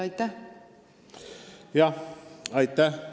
Aitäh!